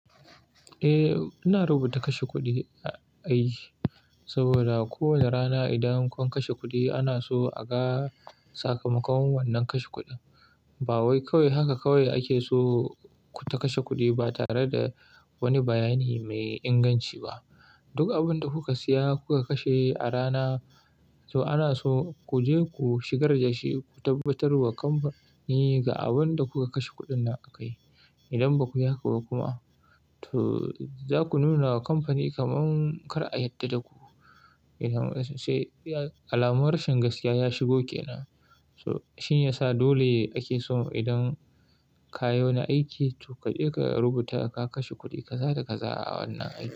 Eh, ina rubuta kashe kuɗi a aiki saboda kowane rana idan kun kashe kuɗi ana so a ga sakamakon wannan kashe kuɗin. Ba wai kawai haka kawai ake so ku ta kashe kuɗi ba tare da wani bayani mai inganci ba. Duk abin da kuka siya, kuka kashe a rana to ana so ku je ku shigar da shi, ku tabbatar wa kamfani ga abin da kuka kashe kuɗin nan akai. Idan baku haka ba kuma to za ku nuna wa kamfani kamar kar a yarda da ku. Sai alamun rashin gaskiya ya shigo ke nan. To shin ya sa dole ake so idan ka yi wani aiki to ka je ka rubuta ka kashe kuɗi kaza da kaza a wannan aiki.